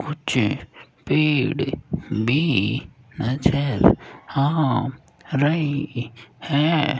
कुछ पेड़ भी नज़र आ रहे हैं।